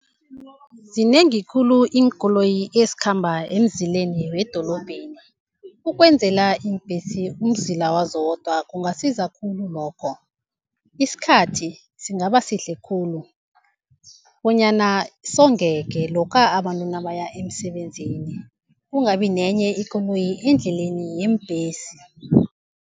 Zinengi khulu iinkoloyi ezikhamba emzileni wedrobheni, ukwenzela iimbhesi umzila wazo zodwa kungasiza khulu lokho. Isikhathi singaba sihle khulu bonyana songeke lokha abantu nabaya emsebenzini, kungabi nenye ikoloyi endleleni yeembhesi.